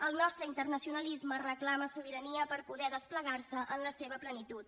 el nostre internacionalisme reclama sobirania per poder desplegar se en la seva plenitud